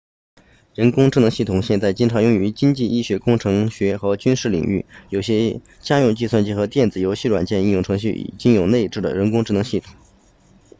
人工智能系统现在经常用于经济医学工程学和军事领域有些家用计算机和电子游戏软件应用程序已经有内置的人工智能系统